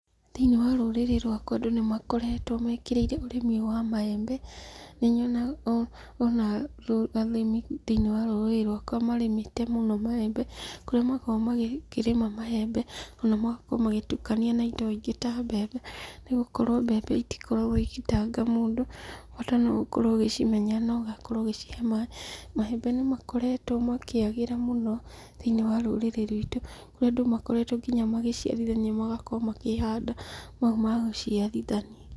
Thĩiniĩ wa rũrĩrĩ rwakwa andũ nĩ makoretwo mekĩrĩire ũrĩmi wa maembe. Nĩnyonaga ona arĩmi thĩiniĩ wa rũrĩrĩ rwaka marĩmĩte mũno maembe, kũrĩa makoretwo makĩrĩma maembe, ona magakorwo magĩtukania na indo ingĩ ta mbembe, nĩgũkorwo mbembe itikoragwo igĩtanga mũndũ, bata no gũkorwo ũgĩcimenya na ũgacihe maĩ. Maembe nĩ makoretwo makĩagĩra mũno thĩiniĩ wa rũrĩrĩ rwitũ, kũrĩa andũ makoretwo kinya magĩciarithania magakorwo makĩhanda mau ma gũciarithania.